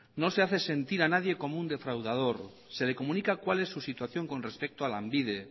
no se hace sentir a nadie como un defraudador se le comunica cuál es su situación con respecto a lanbide